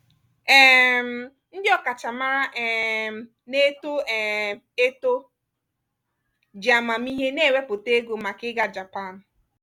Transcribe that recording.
um ndị ọkachamara um na-eto um eto ji amamihe na-ewepụta ego maka ịga japan.